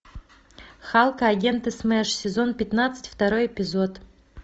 халк и агенты смэш сезон пятнадцать второй эпизод